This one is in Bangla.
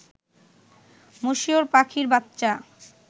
মশিউর পাখির বাচ্চা